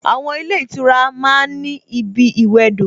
Àwon ilé ìtura ma ń ní ibi ìwẹdò